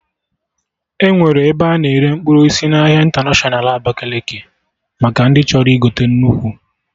Enwere ebe a na-ere mkpụrụ osisi n'ahịa ịntanatiọna Abakaliki maka ndị chọrọ igote nnukwu